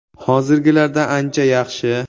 Hozirgilardan ancha yaxshi!